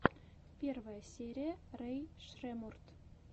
первая серия рэй шреммурд